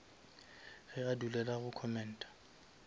ge a dulela go commenta